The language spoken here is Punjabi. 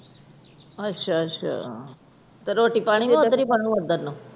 ਅੱਛਾ ਅੱਛਾ। ਤੇ ਰੋਟੀ ਪਾਣੀ ਵੀ ਫਿਰ ਓਧਰ ਹੀ